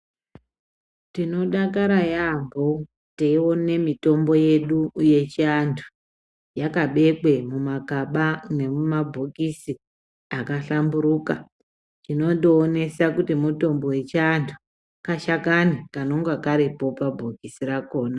Tinodakara yaamho teione mitombo yedu yechiantu yakabekwe mumagaba nemumabhokisi akahlamburuka inondoonesa kuti mitombo yechiantu, kashakani kanenge karipo pabhokisi pakhona.